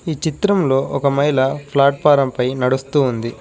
ఈ చిత్రంలో ఒక మహిళ ఫ్లాట్ఫారం పై నడుస్తూ ఉంది.